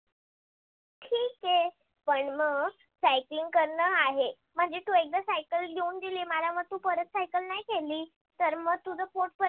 ठीक आहे. पण मग cycle करन आहे. तू आकडा cycle देऊन दिली मला दिल्यावर तू परत cycle नाही खेडली तर म तुझ पोट परत.